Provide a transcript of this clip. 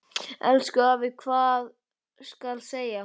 Elsku afi, hvað skal segja.